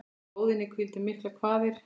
Á lóðinni hvíldu miklar kvaðir.